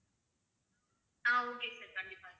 ஆஹ் okay sir கண்டிப்பா